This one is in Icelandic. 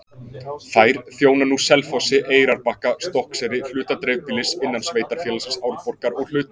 Þær þjóna nú Selfossi, Eyrarbakka, Stokkseyri, hluta dreifbýlis innan sveitarfélagsins Árborgar og hluta